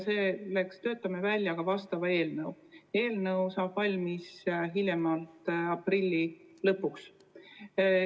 Me töötame selleks välja vastava eelnõu, mis saab valmis hiljemalt aprilli lõpuks.